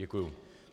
Děkuji.